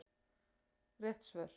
Rétt svör